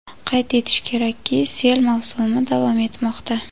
Qayd etish kerakki, sel mavsumi davom etmoqda.